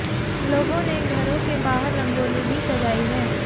लोगों ने घरों के बाहर रंगोली भी सजाई है